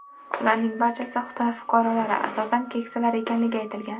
Ularning barchasi Xitoy fuqarolari, asosan keksalar ekanligi aytilgan.